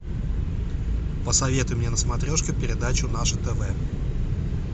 посоветуй мне на смотрешке передачу наше тв